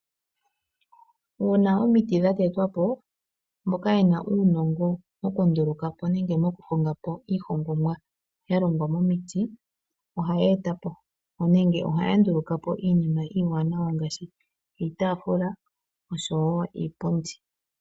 Uuna omiti dha tetwa po, mboka yena uunongo moku nduluka po nenge mokuhonga po iihongomwa ya longwa momiti ohaye e ta po nenge ohaya nduluka po iinima iiwaanawa ngaashi iitaafula oshowo iipundi.